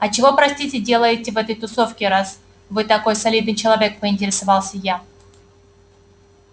а чего простите делаете в этой тусовке раз вы такой солидный человек поинтересовалась я